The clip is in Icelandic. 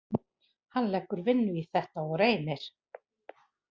Hann leggur vinnu í þetta og reynir.